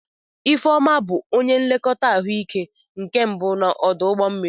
Ifeoma bụ onye nlekọta ahụike nke mbụ n'ọdụ ụgbọ mmiri.